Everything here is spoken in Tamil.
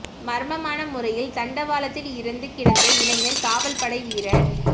மர்மமான முறையில் தண்டவாளத்தில் இறந்து கிடந்த இளைஞர் காவல் படை வீரர்